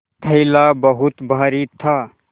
थैला बहुत भारी था